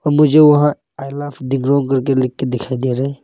मुझे वहां I love Dikrong करके लिख के दिखाई दे रहा है।